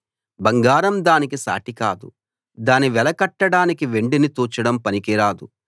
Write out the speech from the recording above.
బంగారం దానికి సాటి కాదు దాని వెల కట్టడానికి వెండిని తూచడం పనికి రాదు